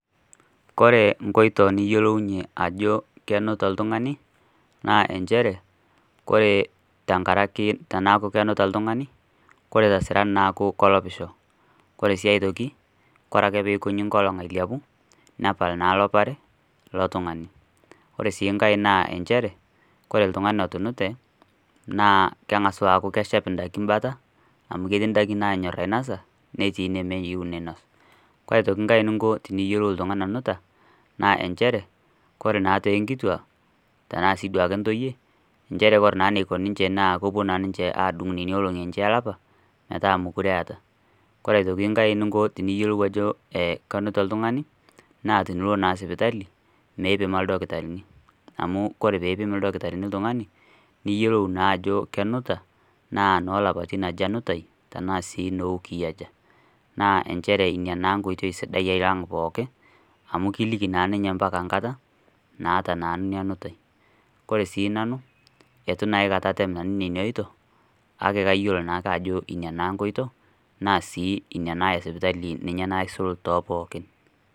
ore inkotoi niyiolounye ajo kenuta oltungani naa ichere, ore teneeku kenuta oltungani, ore too saan naa keeku kelopisho, kore sii aitoki ore ake pee ikoji enkolong, ailepu nepal naa elopare, naa keshep idaikin bata amu ketii inanyor ainosa netii inemeyieu, naa kepuo sii intoyie enaa inkituak adung intiarapa metaa meeta, ore enkae tiniyiolou ajo kenuta naa tinilo naa sipitali, mipima ildakitarini amu tinipim niyiolou ajo enoo ilaipatina aja ore sii nanu atu aikata atem nena oitoi.